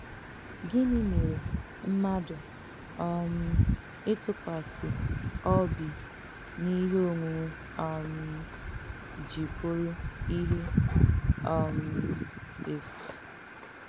Gịnị́ mèrè mmádù um ìtùkwàsì ọ̀bì n’íhè ònwùnwè um jì bùrù íhè um èfù?